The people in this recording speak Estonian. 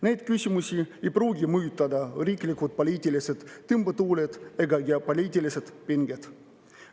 Neid küsimusi ei pruugi mõjutada riiklikud poliitilised tõmbetuuled ega geopoliitilised pinged.